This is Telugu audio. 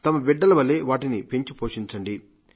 తమ బిడ్డల వలే వాటిని పెంచిపోషించండి